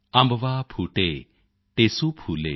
ਅੰਬਵਾ ਫੂਟੇ ਟੇਸੂ ਫੂਲੇ